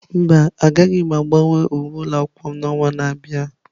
Mba, agaghị m agbanwe uwe ụlọ akwụkwọ m n'ọnwa na-abịa.